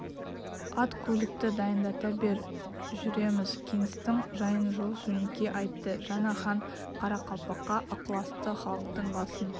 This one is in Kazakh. ат көлікті дайындата бер жүреміз кеңестің жайын жол жөнекей айтты жаңа хан қарақалпаққа ықыласты халықтың басын